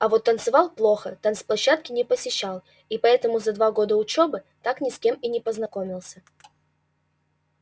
а вот танцевал плохо танцплощадки не посещал и поэтому за два года учёбы так ни с кем и не познакомился